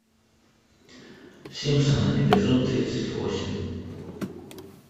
симпсоны эпизод тридцать восемь